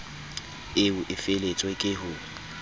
eo e feletswe ke ho